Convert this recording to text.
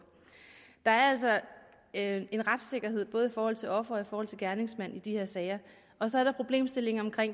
der er altså en retssikkerhed både i forhold til offeret og i forhold til gerningsmanden i de her sager og så er der problemstillingen om